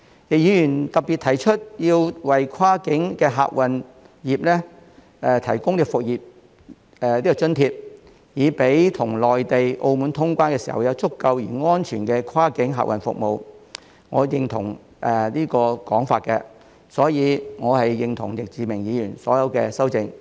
易議員特別提到要為跨境客運業提供"復業津貼"，讓我們與內地、澳門通關時，有足夠而安全的跨境客運服務，我認同這個說法，所以我是認同易志明議員的所有修訂。